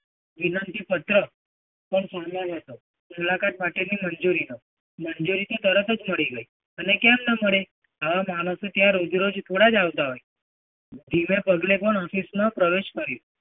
વિનંતી પત્ર પર પણ હતો. મુલાકાત માટેની મંજૂરીનો. મંજૂરી તો તરત જ મળી ગઈ. અને કેમ ન મળે? આવા માણસો ત્યાં regularly થોડા જ આવતા હોય? જિગર નો આશિષ પ્રવેશ કર્યો.